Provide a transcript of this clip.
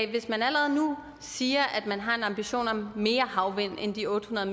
hvis man allerede nu siger at man har en ambition om mere havvind end de otte hundrede